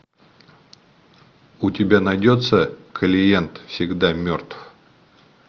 у тебя найдется клиент всегда мертв